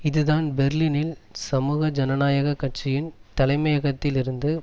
இதுதான் பெர்லினில் சமூக ஜனநாயக கட்சியின் தலைமயகத்தில் இருந்து